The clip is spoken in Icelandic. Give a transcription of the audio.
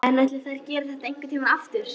En ætli þær geri þetta einhvern tímann aftur?